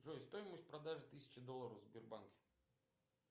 джой стоимость продажи тысячи долларов в сбербанке